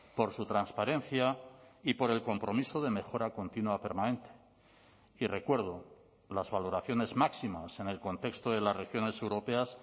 por su transparencia y por el compromiso de mejora continua permanente y recuerdo las valoraciones máximas en el contexto de las regiones europeas